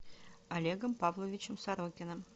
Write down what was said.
олегом павловичем сорокиным